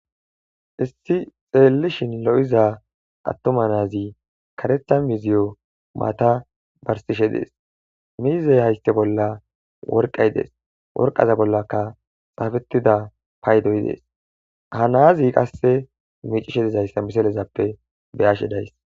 Issi xeellishin lo7iza attoma naazi karetha miziyo maata barsishe dees miizey hayste bolla worqay dees worqaza bollaka xaafetida paydoy dees ha naazi qasse miicishe dizayssa misalezappe beyashe days.